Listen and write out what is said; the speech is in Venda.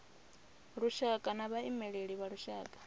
lushaka na vhaimeleli vha lushaka